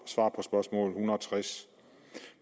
tres